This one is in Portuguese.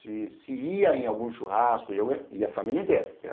Se se ia em algum churrasco, ia a família inteira.